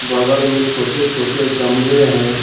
बगल में छोटे छोटे गमले हैं।